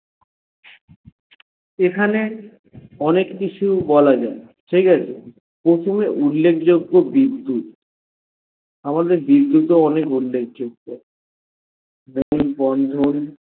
এখানে অনেক কিছু বলা যায়ে ঠিকাছে প্রথমে উল্লেখ যজ্ঞ বিদ্যুত আমাদের বিদ্যুৎ ও অনেক উল্লেখ যজ্ঞ বন্ধন